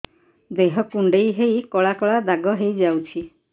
ଦେହ କୁଣ୍ଡେଇ ହେଇ କଳା କଳା ଦାଗ ହେଇଯାଉଛି